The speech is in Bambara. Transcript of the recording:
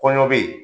Kɔɲɔ bɛ yen